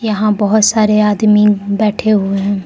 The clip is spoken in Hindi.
यहां बहुत सारे आदमी बैठे हुए हैं।